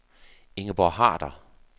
Ingeborg Harder